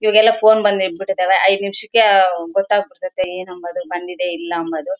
ಈಗ ಎಲ್ಲ ಫೋನ್ ಬಂದ್ ಬಿಟ್ಟೈತೆ ಎಲ್ಲ ಐದ್ ನಿಮಷಕ್ಕೆ ಗೊತ್ತಾಬಿಟ್ ತೈತೆ ಬಂದಿದ್ಯ ಇಲ್ಲ ಅನ್ನೋದು.